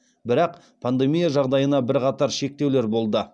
бірақ пандемия жағдайына бірқатар шектеулер болды